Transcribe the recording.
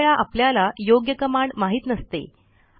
काही वेळा आपल्याला योग्य कमांड माहित नसते